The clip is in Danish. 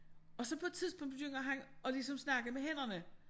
Og så på et tidspunkt begynder han at ligesom snakke med hænderne